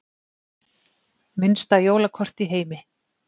Minnsta jólakort í heimi